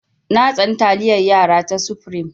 Na tsani taliyar yara ta supreme.